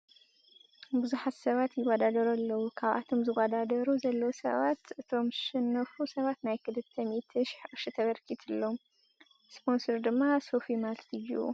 ብዙሓት ሰባት ይወዳደሩ ኣለዉ ካብቶም ዝወዳደሩ ዘለዉ ሰባት እቶም ዘሸነፉ ሰባት ናይ ክልተ ምኢቲ ሺሕ ቅርሺ ተበርኪትሎም ። ስፖንሰር ድማ ሶፊ ማልት እዩ ።